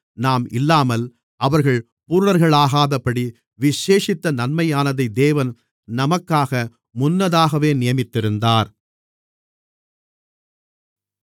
நாம் இல்லாமல் அவர்கள் பூரணர்களாகாதபடி விசேஷித்த நன்மையானதை தேவன் நமக்காக முன்னதாகவே நியமித்திருந்தார்